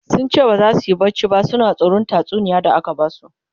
sunce baza suyi barci ba suna tsoran tatsuniyar da aka Basu